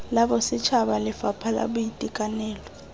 la bosetšhaba lefapha la boitekanelo